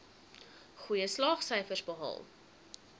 goeie slaagsyfers behaal